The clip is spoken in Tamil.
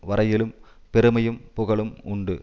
வரையிலும் பெருமையும் புகழும் உண்டு